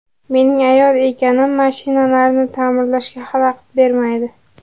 Mening ayol ekanim mashinalarni ta’mirlashga xalaqit bermaydi.